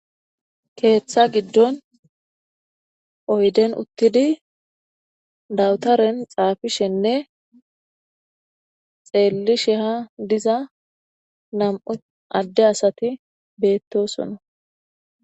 keeththa giddon oyden uttidi dawutaren xaafishenne xeellisheha diza nam"u adde asati beettosona.